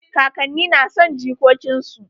Kakanni na son jikokin su.